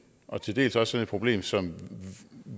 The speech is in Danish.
og til dels også sådan et problem som